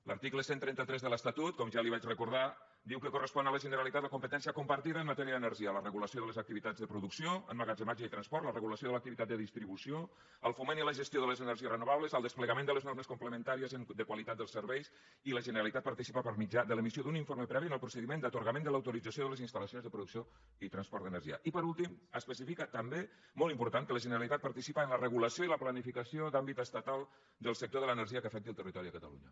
l’article cent i trenta tres de l’estatut com ja li vaig recordar diu que correspon a la generalitat la competència compartida en matèria d’energia la regulació de les activitats de producció emmagatzematge i transport la regulació de l’activitat de distribució el foment i la gestió de les energies renovables el desplegament de les normes complementàries de qualitat dels serveis i la generalitat participa per mitjà de l’emissió d’un informe previ en el procediment d’atorgament de l’autorització de les instal·lacions de producció i transport d’energia i per últim especifica també molt important que la generalitat participa en la regulació i la planificació d’àmbit estatal del sector de l’energia que afecti el territori de catalunya